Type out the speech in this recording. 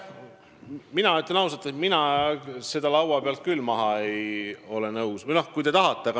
Mina ütlen ausalt, et mina seda laua pealt küll maha lükkama nõus ei ole.